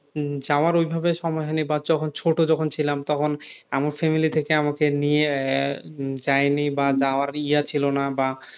উম যাওয়ার ওইভাবে সময় হয়নি বা যখন ছোট যখন ছিলাম তখন আমার family থেকে আমাকে নিয়ে আহ যায়নি বা যাওয়ার ইয়া ছিলো না বা